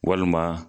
Walima